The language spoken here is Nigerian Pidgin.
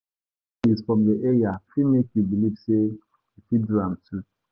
Success stories from your area fit make you believe say you fit do am too.